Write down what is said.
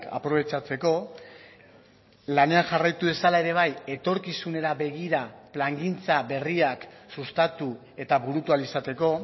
aprobetxatzeko lanean jarraitu dezala ere bai etorkizunera begira plangintza berriak sustatu eta burutu ahal izateko